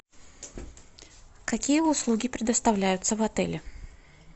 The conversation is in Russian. какие услуги предоставляются в отеле